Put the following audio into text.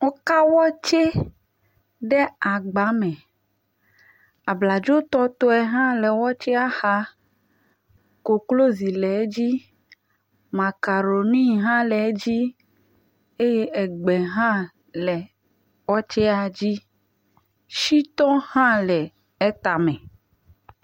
Woka wɔtse ɖee agba me, abladzo tɔtɔe hã le wɔtsea xa, koklozi le edzi, makaroni hã le edzi eye egbe hã le wɔtsea dzi, shitɔ hã le etame